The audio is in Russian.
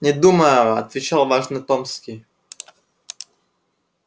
не думаю отвечал важно томский